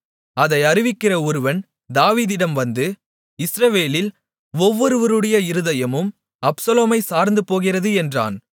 அதை அறிவிக்கிற ஒருவன் தாவீதிடம் வந்து இஸ்ரவேலில் ஒவ்வொருவருடைய இருதயமும் அப்சலோமைச் சார்ந்துப்போகிறது என்றான்